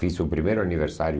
Fiz o primeiro aniversário.